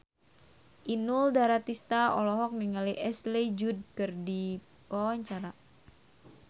Inul Daratista olohok ningali Ashley Judd keur diwawancara